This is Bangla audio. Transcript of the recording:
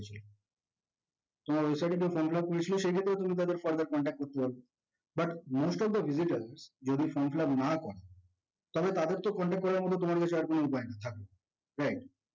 তোমার website এ যারা from fill up করেছিল সেক্ষেত্রে তুমি তাদের contact পারো, but most of the visitor যদি from fill up না করে তাহলে তাদের তো contact করার মতো তোমার কাছে কোনো উপায় নেই